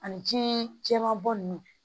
Ani ji jɛman bɔ nunnu